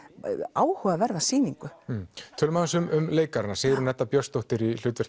áhugaverða sýningu tölum aðeins um leikarana Sigrún Edda Björnsdóttir í hlutverk